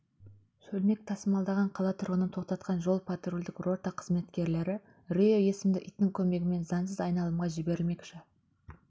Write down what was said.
шөлмекті тасымалдаған қала тұрғынын тоқтатқан жол-патрульдік рота қызметкерлері рио есімді иттің көмегімен заңсыз айналымға жіберілмекші